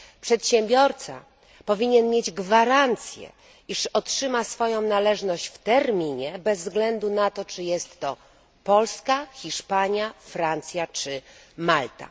Przedsiębiorca powinien mieć gwarancję, iż otrzyma swoją należność w terminie bez względu na to, czy jest to Polska, Hiszpania, Francja czy Malta.